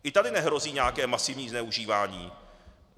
I tady nehrozí nějaké masivní zneužívání.